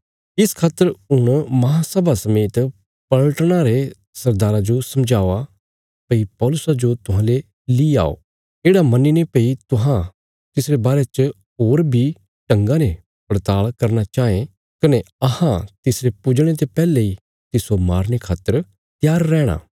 इस खातर हुण महासभा समेत पलटना रे सरदारा जो समझावा भई पौलुसा जो तुहांले ली आओ येढ़ा मन्नीने भई तुहां तिसरे बारे च होर बी ढंगा ने पड़ताल़ करना चाँये कने अहां तिसरे पुजणे ते पैहले इ तिस्सो मारने खातर त्यार रैहणा